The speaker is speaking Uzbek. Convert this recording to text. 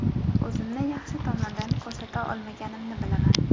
O‘zimni yaxshi tomondan ko‘rsata olmaganimni bilaman.